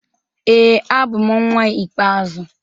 Ee, abụ m nnwa ikpeazụ.